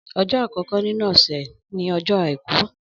Ọjọ àkọkọ nínú ọsẹ ni ọjọ àìkú